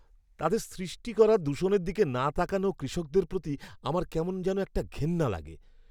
তাদের সৃষ্টি করা দূষণের দিকে না তাকানো কৃষকদের প্রতি আমার কেমন যেন একটা ঘেন্না লাগে।